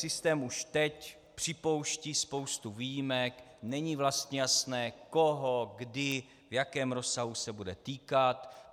Systém už teď připouští spoustu výjimek, není vlastně jasné, koho, kdy, v jakém rozsahu se bude týkat.